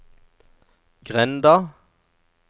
grenda